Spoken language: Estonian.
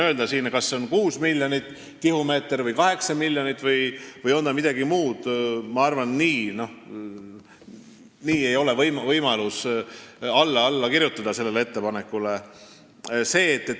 Öelda siin, kas see on 6 miljonit või 8 miljonit tihumeetrit või midagi muud – ma arvan, et nii ei ole võimalik sellele ettepanekule alla kirjutada.